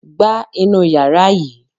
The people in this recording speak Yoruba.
Gba inú yàrá yìí!